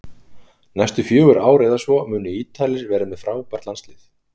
Næstu fjögur ár eða svo munu Ítalir vera með frábært landslið